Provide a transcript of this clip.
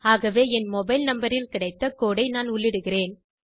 ஆகவே என் mobile number ல் கிடைத்த கோடு ஐ நான் உள்ளிடுகிறேன்